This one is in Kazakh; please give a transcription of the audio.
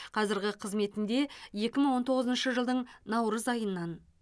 қазіргі қызметінде екі мың он тоғызыншы жылдың наурыз айынан